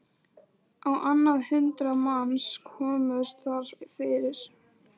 Á annað hundrað manns komust þar fyrir.